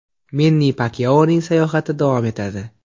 Menni Pakyaoning sayohati davom etadi!